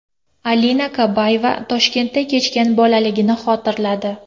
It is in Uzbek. Alina Kabayeva Toshkentda kechgan bolaligini xotirladi.